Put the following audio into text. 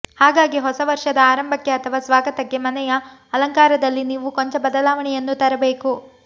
ಹಾಗಾಗಿ ಹೊಸ ವರ್ಷದ ಆರಂಭಕ್ಕೆ ಅಥವಾ ಸ್ವಾಗತಕ್ಕೆ ಮನೆಯ ಅಲಂಕಾರದಲ್ಲಿ ನೀವು ಕೊಂಚ ಬದಲಾವಣೆಯನ್ನು ತರಬೇಕು